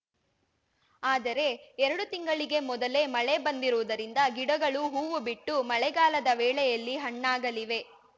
ಆದರೆ ಎರಡು ತಿಂಗಳಿಗೆ ಮೊದಲೇ ಮಳೆ ಬಂದಿರುವುದರಿಂದ ಗಿಡಗಳು ಹೂವು ಬಿಟ್ಟು ಮಳೆಗಾಲದ ವೇಳೆಯಲ್ಲಿ ಹಣ್ಣಾಗಲಿವೆ